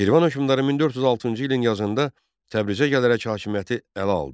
Şirvan hökmdarı 1406-cı ilin yazında Təbrizə gələrək hakimiyyəti ələ aldı.